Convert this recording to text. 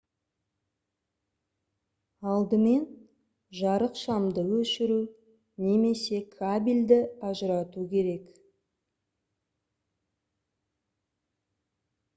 алдымен жарықшамды өшіру немесе кабельді ажырату керек